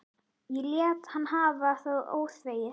Ég lét hann hafa það óþvegið.